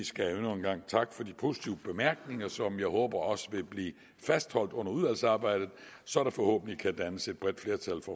skal jeg endnu en gang takke for de positive bemærkninger som jeg håber også vil blive fastholdt under udvalgsarbejdet så der forhåbentlig kan dannes et bredt flertal